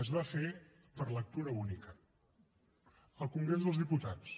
es va fer per lectura única al congrés dels diputats